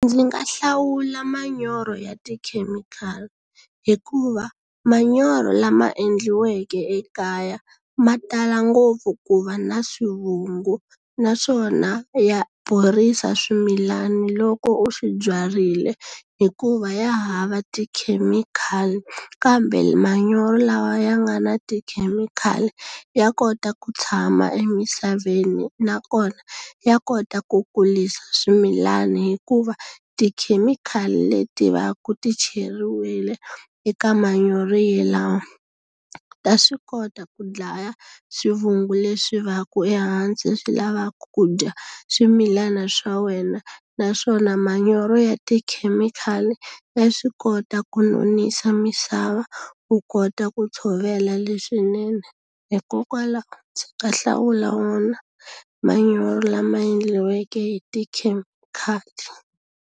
Ndzi nga hlawula manyoro ya tikhemikhali hikuva, manyoro lama endliweke ekaya ma tala ngopfu ku va na swivungu. Naswona ya borisa swimilana loko u swi byarile hi ku va ya hava tikhemikhali. Kambe manyoro lawa ya nga na tikhemikhali ya kota ku tshama emisaveni nakona, ya kota ku kurisa swimilani hikuva tikhemikhali leti va ku ti cheriwile eka manyoro yalawo, ta swi kota ku dlaya swivungu leswi va ku ehansi swi lavaka ku dya swimilana swa wena. Naswona manyoro ya tikhemikhali ya swi kota ku nonisa misava, u kota ku tshovela leswinene. Hikokwalaho ka hlawula wona manyoro lama endliweke hi tikhemikhali.